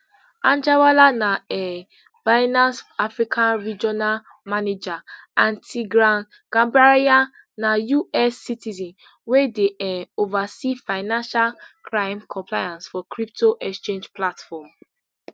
anjarwalla na um binance africa regional manager and tigran gambaryan na us citizen wey dey um oversee financial crime compliance for crypto exchange platform